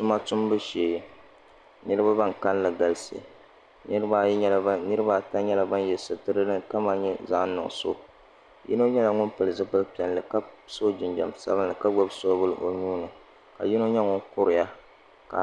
Tuma tumbu shee niraba ban kanli galisi nirabaata nyɛla bin yɛ sitira din kama nyɛ zaɣ nuɣso yino nyɛla ŋun pili zipili piɛlli ka so jinjɛm sabinli ka gbubi soobuli o nuuni ka yino nyɛ ŋun kuriya ka